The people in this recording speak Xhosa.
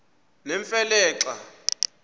nemfe le xa